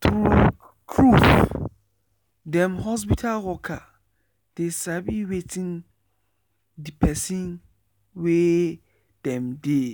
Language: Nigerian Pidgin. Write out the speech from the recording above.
true trueif dem hospital worker dey sabi wetin de pesin wey dem dey